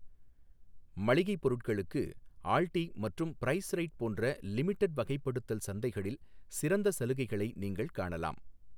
மளிகைப் பொருட்களுக்கு, ஆல்டி மற்றும் பிரைஸ்ரைட் போன்ற லிமிடெட் வகைப்படுத்தல் சந்தைகளில் சிறந்த சலுகைகளை நீங்கள் காணலாம்.